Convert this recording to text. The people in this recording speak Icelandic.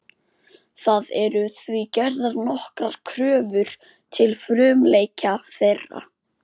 Það eru því gerðar nokkrar kröfur til frumleika þeirra.